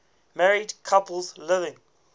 married couples living